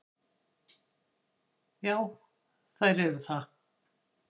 Já, þær eru það.